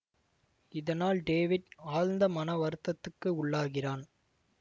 இதனால் டேவிட் ஆழந்த மன வருத்தத்துக்கு உள்ளாகிறான்